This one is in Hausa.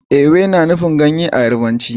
Ewe na nufin ganye a Yarbanci